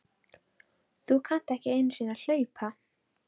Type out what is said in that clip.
Þú kannt ekki einu sinni að hlaupa